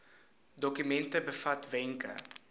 dokument bevat wenke